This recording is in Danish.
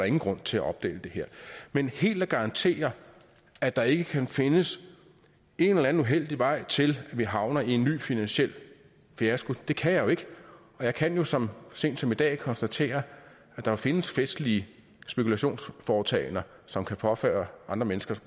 ingen grund til at opdele dem men helt at garantere at der ikke kan findes en eller anden uheldig vej til at vi havner i en ny finansiel fiasko kan jeg jo ikke og jeg kan jo så sent som i dag konstatere at der findes festlige spekulationsforetagender som kan påføre andre mennesker